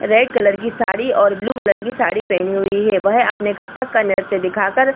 Red colour की साड़ी और blue colour की साड़ी पहने हुए है वह अपनी कत्थक का नृत्य दिखा कर ।